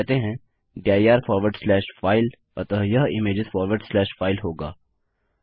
हम कहते हैं दिर फॉरवर्ड स्लैश फाइल अतः यह इमेजेस फॉरवर्ड स्लैश फाइल होगा